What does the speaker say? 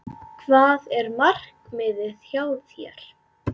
Hvað er markmiðið hjá þér?